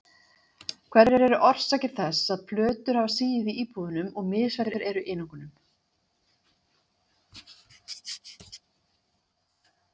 Hverjar eru orsakir þess að plötur hafa sigið í íbúðunum og misfellur eru í einingum?